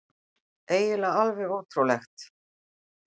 Eiginlega alveg ótrúlegt.